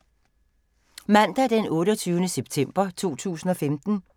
Mandag d. 28. september 2015